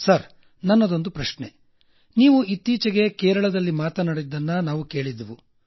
sir ನನ್ನದೊಂದು ಪ್ರಶ್ನೆ ನೀವು ಇತ್ತೀಚೆಗೆ ಕೇರಳದಲ್ಲಿ ಮಾತಾಡಿದ್ದನ್ನ ನಾವು ಕೇಳಿದ್ದೆವು